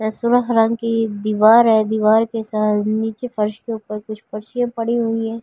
की दीवार है दीवार के सा नीचे फर्श के ऊपर कुछ पड़ी हुई हैं।